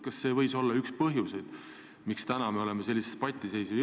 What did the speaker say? Kas see võib olla üks põhjuseid, miks täna me oleme sellisesse patiseisu jõudnud?